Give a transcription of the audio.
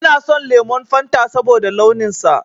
Ina son lemon Fanta saboda launin sa